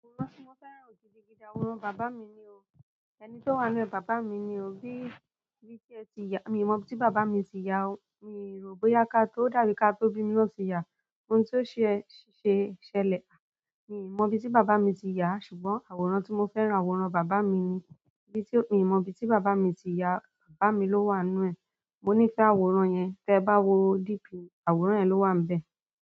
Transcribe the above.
Nkán to mo fẹ́ràn gidigidi àwọn bàbá mí ní o. Ẹni tó wà nínú ẹ̀, bàbá mi ni o. Bí, bí tí ẹ ti ya, mi ò mọ bí bàbá mi ti ya o. Mi ò rò bóyá ká tó dàbí ká tó bí mí lo ti ya. Ohun tó ṣe ṣẹlẹ̀, mi ò mọ bí tí bàbá mi ti ya, ṣùgbọ́n àwòrán tí mo fẹ́ràn, àwòrán bàbá mi ni. Bí tí, mi ò mọ bí tí bàbá mi ti ya, bàbá mi ló wà nínú ẹ̀. Mo níí fẹ àwòrán yẹn. Tẹ bá wo Dp mi, àwòrán yẹn ló wà bẹ.